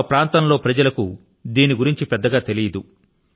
తమ ప్రాంతం లో ప్రజల కు దీని గురించి పెద్ద గా తెలియదు